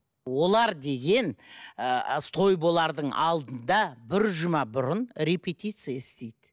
олар деген ыыы той болардың алдында бір жұма бұрын репетиция істейді